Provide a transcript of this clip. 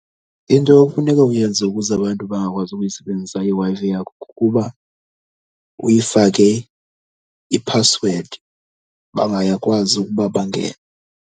Into ekufuneka uyenze ukuze abantu bangakwazi uyisebenzisa iWi-Fi yakho kukuba uyifake iphasiwedi, bangakwazi ukuba bangene.